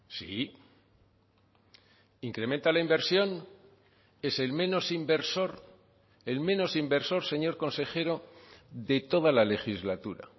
sí incrementa la inversión es el menos inversor el menos inversor señor consejero de toda la legislatura